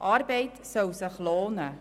Arbeit soll sich lohnen.